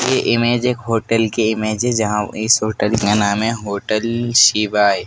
ये इमेज एक होटल की इमेज है जहां इस होटल का नाम है होटल शिवाय।